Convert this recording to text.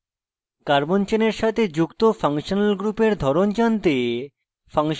carbon চেনের সাথে যুক্ত ফাংশনাল গ্রুপের ধরন জানতে